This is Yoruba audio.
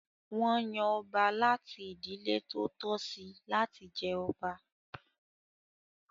Wọn yan ọba láti ìdílé tó tọ́ sí láti jẹ ọba.